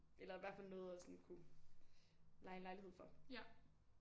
Eller i hvert fald noget at sådan kunne leje en lejlighed for